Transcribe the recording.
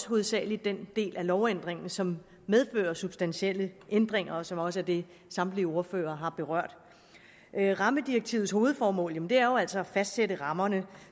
hovedsagelig den del af lovændringen som medfører substantielle ændringer og som også er det samtlige ordførere har berørt rammedirektivets hovedformål er jo altså at fastsætte rammerne